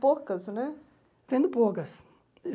Poucas, né? Vendo poucas